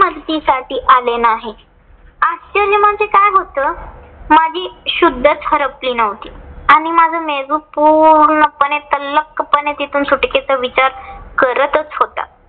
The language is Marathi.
मदती साठी आले नाही. आश्चर्य म्हणजे काय होतं. माझी शुद्धच हरपली नव्हती आणि माझा मेंदू पूर्णपणे तल्लखपणे तिथून सुटकेचा विचार करतच होता.